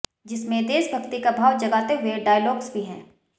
जिसमें देशभक्ति का भाव जगाते हुए डायलॉग्स भी है